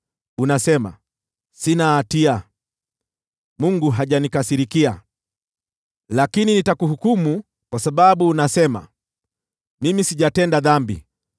unasema, ‘Sina hatia; Mungu hajanikasirikia.’ Lakini nitakuhukumu kwa sababu unasema, ‘Mimi sijatenda dhambi.’